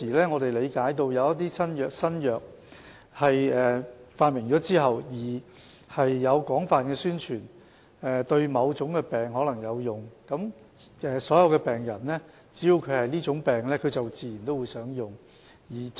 我們理解到，一些新藥在發明後，會進行廣泛宣傳，指其對某種疾病可能有用，所有患上這種疾病的病人自然便會想使用這些藥物。